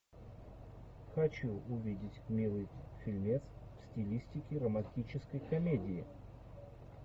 хочу увидеть милый фильмец в стилистике романтической комедии